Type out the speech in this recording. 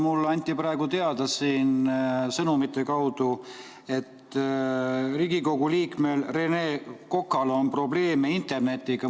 Mulle anti praegu sõnumite kaudu teada, et Riigikogu liikmel Rene Kokal on probleeme internetiga.